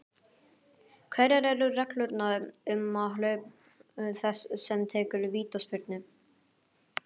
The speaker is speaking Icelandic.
Hverjar eru reglurnar um aðhlaup þess sem tekur vítaspyrnu?